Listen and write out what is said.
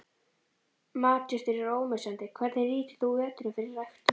Matjurtir eru ómissandi Hvernig nýtir þú veturinn fyrir ræktun?